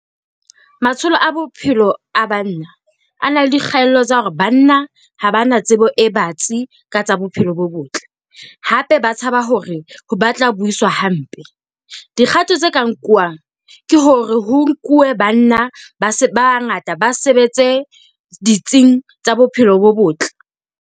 Matsholo a bophelo a banna a na le dikgaello tsa hore banna ha ba na tsebo e batsi ka tsa bophelo bo botle, hape ba tshaba hore ba tla buiswa hampe. Dikgato tse ka nkuwang ke hore ho nkuwe banna ba bangata ba sebetse ditsing tsa bophelo bo botle.